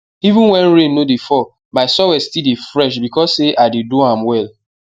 even when rain no dey fall my soil still dey fresh because say i dey do am well